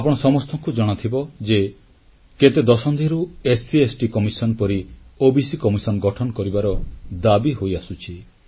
ଆପଣ ସମସ୍ତଙ୍କୁ ଜଣାଥିବ ଯେ କେତେ ଦଶନ୍ଧିରୁ ତଫସିଲଜାତିଉପଜାତି ଆୟୋଗ ପରି ଓବିସି ଆୟୋଗ ଗଠନ କରିବାର ଦାବି ହୋଇଆସୁଛି